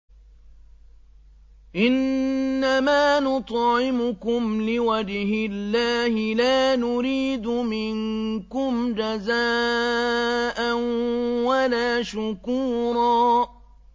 إِنَّمَا نُطْعِمُكُمْ لِوَجْهِ اللَّهِ لَا نُرِيدُ مِنكُمْ جَزَاءً وَلَا شُكُورًا